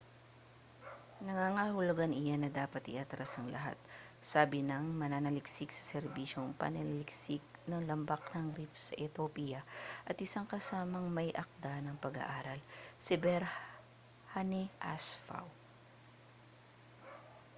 nangangahulugan iyan na dapat iatras ang lahat sabi ng mananaliksik sa serbisyong pananaliksik ng lambak ng rift sa ethiopia at isang kasamang may-akda ng pag-aaral si berhane asfaw